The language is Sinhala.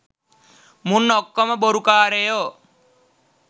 මුන් ඔක්කොම බොරු කාරයෝ